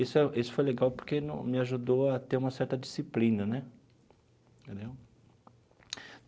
Isso isso foi legal porque me ajudou a ter uma certa disciplina né.